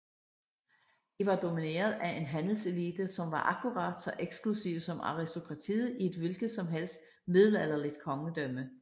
De var domineret af en handelselite som var akkurat så eksklusiv som aristokratiet i et hvilket som helst middelalderligt kongedømme